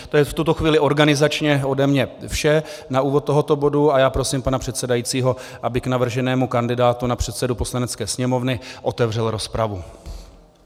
To je v tuto chvíli organizačně ode mne vše na úvod tohoto bodu a já prosím pana předsedajícího, aby k navrženému kandidátu na předsedu Poslanecké sněmovny otevřel rozpravu.